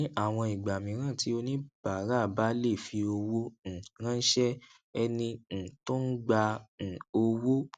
ní àwọn ìgbà mìíràn tí oníbàárà bá lè fi owó um ránṣé ẹni um tó ń gba um owó